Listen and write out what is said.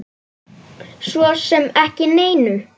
Svo sem ekki neinu.